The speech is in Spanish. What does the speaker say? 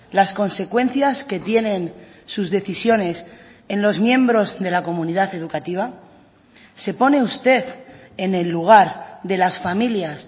las consecuencias que tienen sus decisiones en los miembros de la comunidad educativa se pone usted en el lugar de las familias